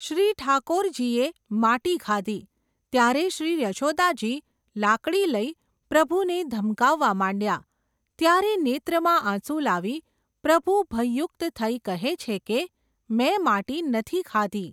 શ્રી ઠાકોરજીયે માટી ખાધી, ત્યારે શ્રી યશોદાજી લાકડી લઈ, પ્રભુને ધમકાવવા માંડ્યા ત્યારે નેત્રમાં આંસુ લાવી પ્રભુ ભયયુક્ત થઈ કહે છે કે, મેં માટી નથી ખાધી.